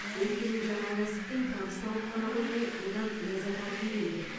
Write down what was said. өйткені жаңа кәсіппен табыс тауып қана қоймай одан ләззат алғым келді